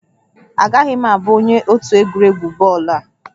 Agaghị m abụ onye otu egwuregwu bọọlụ a